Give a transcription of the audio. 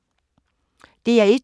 DR1